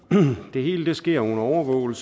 det hele sker under overvågning